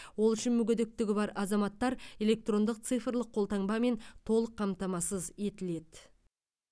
ол үшін мүгедектігі бар азаматтар электрондық цифрлық қолтаңбамен толық қамтамасыз етіледі